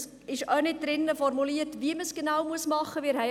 Es ist auch nicht ausformuliert, wie man es genau machen muss.